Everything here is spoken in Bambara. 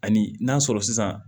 Ani n'a sɔrɔ sisan